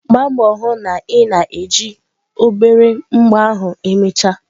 Gbaa mbọ hụ na ị na-eji obere mbọ ahụ emechaa.